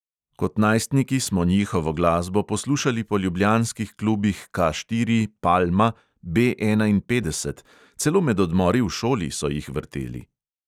Kot najstniki smo njihovo glasbo poslušali po ljubljanskih klubih K štiri, palma, B enainpetdeset, celo med odmori v šoli so jih vrteli.